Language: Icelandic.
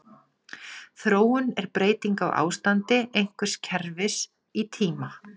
Þróun er breyting á ástandi einhvers kerfis í tíma.